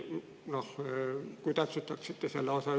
Ehk täpsustaksite seda.